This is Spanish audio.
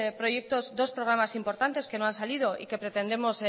proyectos dos programas importantes que no han salido y que pretendemos